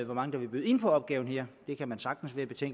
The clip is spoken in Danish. mange der vil byde ind på opgaver her det kan man sagtens være